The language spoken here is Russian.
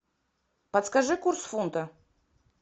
подскажи курс фунта